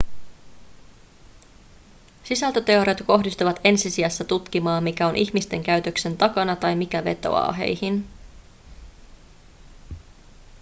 sisältöteoriat kohdistuvat ensi sijassa tutkimaan mikä on ihmisten käytöksen takana tai mikä vetoaa heihin